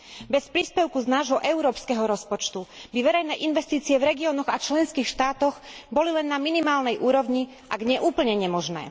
Bez príspevku z nášho európskeho rozpočtu by verejné investície v regiónoch a členských štátoch boli len na minimálnej úrovni, ak nie úplne nemožné.